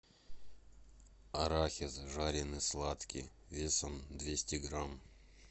арахис жареный сладкий весом двести грамм